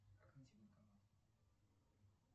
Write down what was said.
как найти банкомат